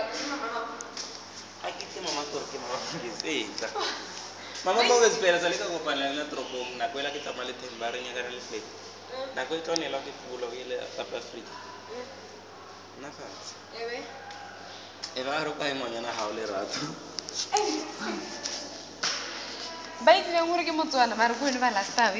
usebentise imitsetfo